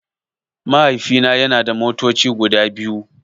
Mahaifina yana da motoci guda biyu.